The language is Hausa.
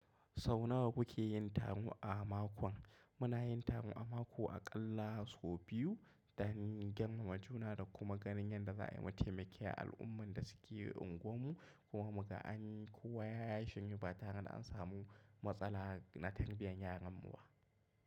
Sau nawa kuke yin taro a makon? Muna yin taro a mako aƙalla sau biyu don girmama juna da kuma ganin yadda za a yi matimaki al’umman da suke unguwarmu. Kuma muka an yi kowa ya shiryu ba tare da an samu matsala na tarbiyyar yaranmu ba.